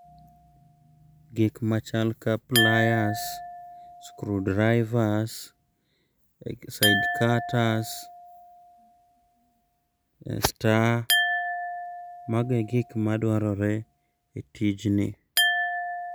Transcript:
Gik machal ka pliers, screw drivers, side cutters, star magi e gik madwarore e tijni.